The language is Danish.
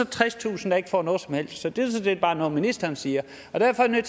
tredstusind der ikke får noget som helst sådan set bare noget ministeren siger derfor er jeg